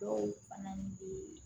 Dɔw fana bɛ